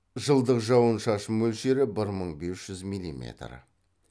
жылдық жауын шашын мөлшері бір мың бес жүз милиметр